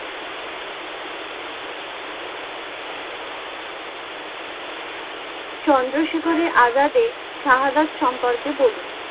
চন্দ্রশেখরের আজাদে শাহাদাত সম্পর্কে বলুন?